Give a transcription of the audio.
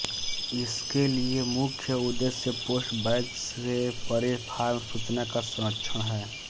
इसके लिए मुख्य उद्देश्य पोस्टबैक्स से परे फॉर्म सूचना का संरक्षण है